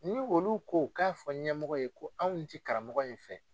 Ni olu ko k'a fɔ ɲɛmɔgɔ ye ko anw tɛ karamɔgɔ in fɛ